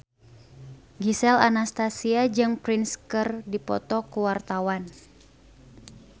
Gisel Anastasia jeung Prince keur dipoto ku wartawan